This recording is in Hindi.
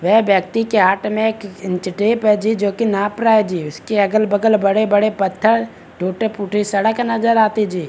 वे व्यक्ति के हाथ में एक इंच टेप है जी जो की नाप रहा है जी उसके अगल-बगल बड़े-बड़े पत्थर टूटी-फूटी सड़क नज़र आती जी।